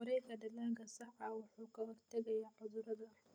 Wareegga dalagga saxda ah wuxuu ka hortagayaa cudurrada.